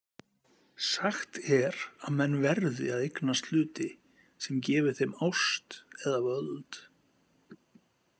Sagt er að menn VERÐI að eignast hluti sem gefi þeim ást eða völd.